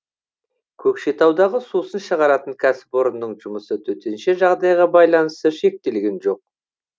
көкшетаудағы сусын шығаратын кәсіпорынның жұмысы төтенше жағдайға байланысты шектелген жоқ